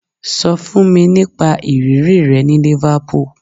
Sọ fún mi nípa ìrírí rẹ ní Liverpool